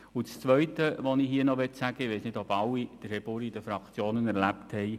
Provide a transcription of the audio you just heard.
Zum Zweiten: Ich weiss nicht, ob alle in den Fraktionen Herrn Buri erlebt haben.